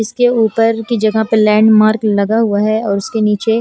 इसके ऊपर की जगह पर लैंड मार्क लगा हुआ है और उसके निचे--